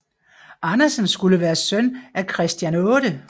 Andersen skulle være søn af Christian 8